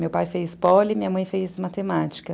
Meu pai fez poli e minha mãe fez matemática.